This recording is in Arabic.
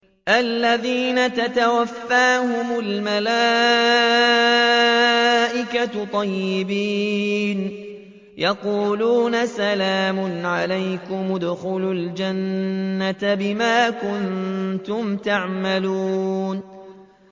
الَّذِينَ تَتَوَفَّاهُمُ الْمَلَائِكَةُ طَيِّبِينَ ۙ يَقُولُونَ سَلَامٌ عَلَيْكُمُ ادْخُلُوا الْجَنَّةَ بِمَا كُنتُمْ تَعْمَلُونَ